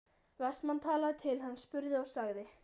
Vestmann talaði til hans, spurði og sagði